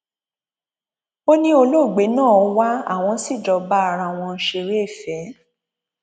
ó ní olóògbé náà wá àwọn sì jọ bá ara àwọn ṣeré ìfẹ